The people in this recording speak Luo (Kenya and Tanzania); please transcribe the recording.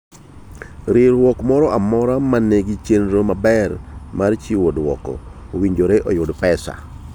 Riwruok moro amora ma nigi chenro maber mar chiwo dwoko, owinjore yudo pesa.